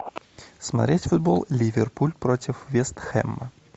смотреть футбол ливерпуль против вест хэма